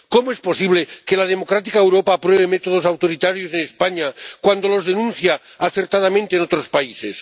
¿Cómo es posible que la democrática Europa apruebe métodos autoritarios en España cuando los denuncia acertadamente en otros países?